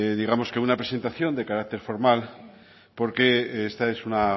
digamos que una presentación de carácter formal porque esta es una